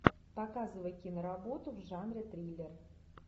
показывай киноработу в жанре триллер